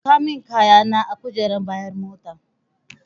Saka min kayana a kujerar bayan mota.